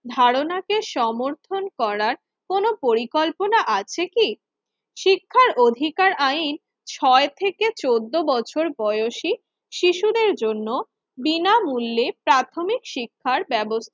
ধারণাকে সমর্থন করার কোন পরিকল্পনা আছে কি? শিক্ষার অধিকার আইন ছয় থেকে চোদ্দ বছর বয়সি শিশুদের জন্য বিনামূল্যে প্রাথমিক শিক্ষা ব্যব